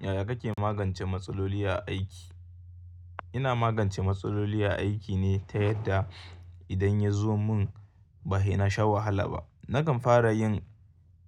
Yaya kake magance matsaloli a aiki? Ina magance matsaloli a aiki ne ta yadda idan ya zo mun ba he na sha wahala ba. Nakan fara yin